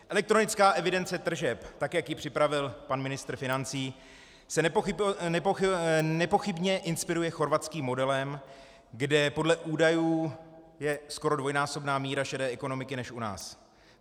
Elektronická evidence tržeb, tak jak ji připravil pan ministr financí, se nepochybně inspiruje chorvatským modelem, kde podle údajů je skoro dvojnásobná míra šedé ekonomiky než u nás.